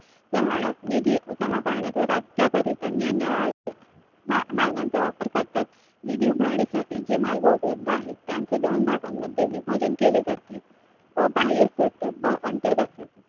प्रमाणात निधी जमा करण्यात व त्याकरिता निरनिराळे मार्गांचा वापर करतात. निधी उभारण्यासाठी जे मार्ग उपलब्ध आहे. त्यांचे दोन भागांमध्ये विभाजन केले जाते. अं बाह्य अंतर्गत